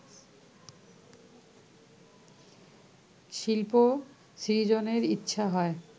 শিল্প সৃজনের ইচ্ছা হয়